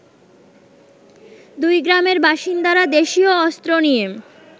দুইগ্রামের বাসিন্দারা দেশিয় অস্ত্র নিয়ে